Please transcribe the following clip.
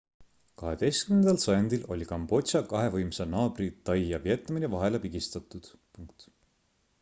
18 sajandil oli kambodža kahe võimsa naabri tai ja vietnami vahele pigistatud